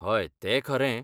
हय, तें खरें.